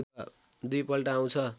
दुई पल्ट आउँछ